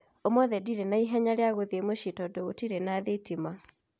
Ũmũthĩ ndirĩ na ihenya riagũthiĩ mũciĩ tondũ gũtirĩ na thitima